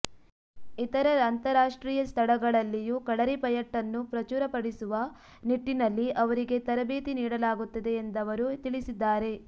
ಇತರ ಅಂತಾರಾಷ್ಟ್ರೀಯ ಸ್ಥಳಗಳಲ್ಲಿಯೂ ಕಳರಿಪಯಟ್ಟನ್ನು ಪ್ರಚುರ ಪಡಿಸುವ ನಿಟ್ಟಿನಲ್ಲಿ ಅವರಿಗೆ ತರಬೇತಿ ನೀಡಲಾಗುತ್ತಿದೆಯೆಂದವರು ತಿಳಿಸಿದ್ದಾರೆ